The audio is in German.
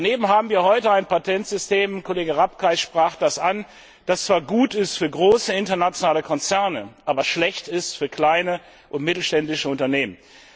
Daneben haben wir heute ein Patentsystem Kollege Rapkay sprach das an das zwar gut ist für große internationale Konzerne, aber schlecht ist für kleine und mittelständische Unternehmen.